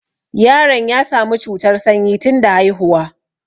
Yaron ya sami cutar sanyi tunda haihuwa